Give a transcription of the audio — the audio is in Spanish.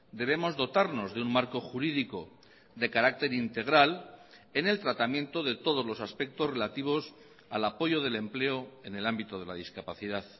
debemos dotarnos de un marco jurídico de carácter integral en el tratamiento de todos los aspectos relativos al apoyo del empleo en el ámbito de la discapacidad